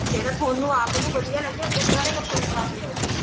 ਜਿਹੜੇ ਤੁਹਾਨੂੰ ਆਪ ਨੂੰ ਵਧੀਆ ਲੱਗੇ ਉੱਦਾਂ ਦੇ ਕੱਪੜੇ ਪਾ ਕੇ ਆਉ ਤੁਸੀਂ